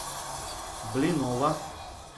блинова